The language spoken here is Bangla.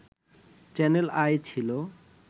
চ্যানেল আই ছিল